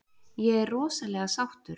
Ég er rosalega sáttur.